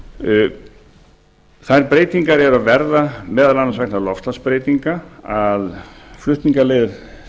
þær breytingar eru að verða meðal annars vegna loftslagsbreytinga að flutningaleiðir